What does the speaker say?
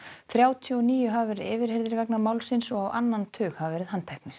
þrjátíu og níu hafa verið yfirheyrðir vegna málsins og á annan tug hafa verið handteknir